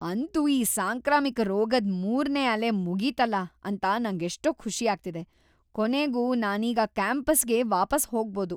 ಅಂತೂ ಈ ಸಾಂಕ್ರಾಮಿಕ ರೋಗದ್ ಮೂರ್ನೇ ಅಲೆ ಮುಗೀತಲ ಅಂತ ನಂಗೆಷ್ಟೋ ಖುಷಿ ಆಗ್ತಿದೆ. ಕೊನೆಗೂ ನಾನೀಗ ಕ್ಯಾಂಪಸ್‌ಗೆ ವಾಪಸ್ ಹೋಗ್ಬೋದು.